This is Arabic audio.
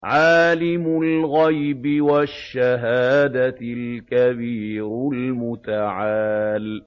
عَالِمُ الْغَيْبِ وَالشَّهَادَةِ الْكَبِيرُ الْمُتَعَالِ